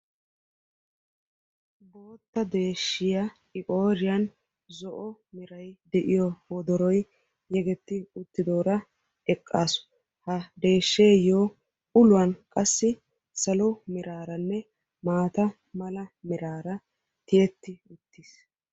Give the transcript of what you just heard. Ha deeshshiya I qooriyaan zo'o meray de'iyo wodoroy yeggeti uttidoora eqqaasu. Ha deehsheto uluwan qassi salo meraraanne qassi maata mala meraara tiyyeti uttiis.